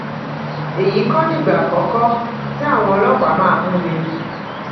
èyí kọ nìgbà àkọkọ tí àwọn ọlọpàá máa mú mi